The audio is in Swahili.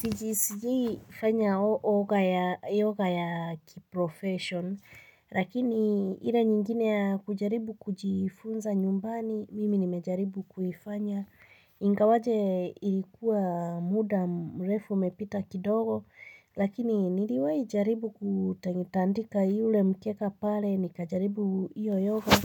Siji sijii fanya yoga ya kiprofession. Lakini ile nyingine ya kujaribu kujifunza nyumbani mimi nimejaribu kuifanya. Ingawaje ilikuwa muda mrefu umepita kidogo. Lakini niliwahi jaribu kutandika yule mkeka pale. Nikajaribu hiyo yoga.